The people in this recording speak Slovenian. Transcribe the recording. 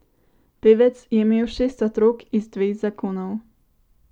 Pevec je imel šest otrok iz dveh zakonov.